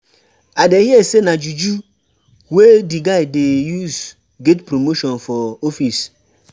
I dey hear sey na juju wey di guy dey use get promotion for office.